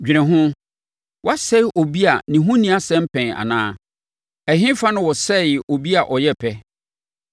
“Dwene ho: Wɔasɛe obi a ne ho nni asɛm pɛn anaa? Ɛhefa na wɔsɛee obi a ɔyɛ pɛ?